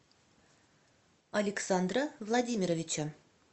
александра владимировича